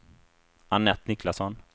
Anette Niklasson